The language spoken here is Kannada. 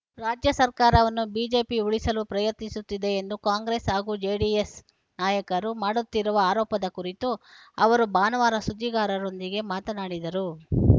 ರಾಜ್ಯ ಸರ್ಕಾರವನ್ನು ಬಿಜೆಪಿ ಉರುಳಿಸಲು ಪ್ರಯತ್ನಿಸುತ್ತಿದೆ ಎಂದು ಕಾಂಗ್ರೆಸ್‌ ಹಾಗೂ ಜೆಡಿಎಸ್‌ ನಾಯಕರು ಮಾಡುತ್ತಿರುವ ಆರೋಪದ ಕುರಿತು ಅವರು ಭಾನುವಾರ ಸುದ್ದಿಗಾರರೊಂದಿಗೆ ಮಾತನಾಡಿದರು